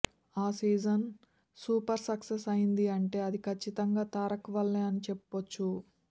ఆ season super success అయ్యింది అంటే అది కచ్చితంగా తారక్ వల్లే అని చెప్పొచ్చు